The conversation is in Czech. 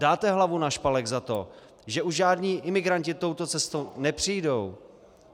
Dáte hlavu na špalek za to, že už žádní imigranti touto cestou nepřijdou?